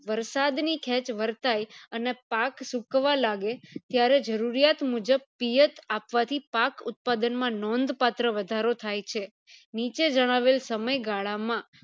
વરસાદ ની ખેચ વરતાય અને પાક સુકવ લાગે ત્યારે જરૂરિયાત મુજબ પિયત આપવાથી પાક ઉત્પાદન માં નોંધ પત્ર વધારો થાય છે નીચે જણાવેલ સમય ગાળા માં